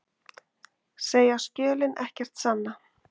Segja skjölin ekkert sanna